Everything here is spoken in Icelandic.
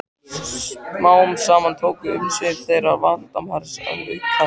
Smám saman tóku umsvif þeirra Valdimars að aukast.